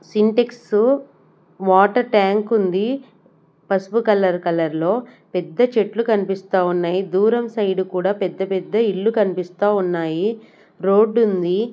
Sintex water tank ఉంది పసుపు colour colour లో పెద్ద చెట్లు కనిపిస్తా ఉన్నాయి దూరం సైడ్ కూడా పెద్ద పెద్ద ఇల్లు కనిపిస్తా ఉన్నాయి రోడ్డు ఉంది.